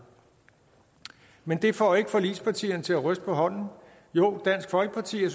men det får ikke forligspartierne til at ryste på hånden jo dansk folkeparti